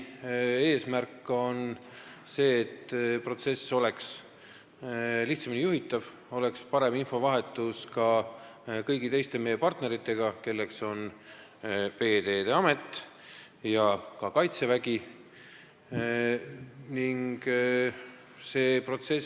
Eesmärk on see, et protsess oleks lihtsamini juhitav ning infovahetus ka kõigi meie partneritega, kelleks on Veeteede Amet ja ka Kaitsevägi, toimuks paremini.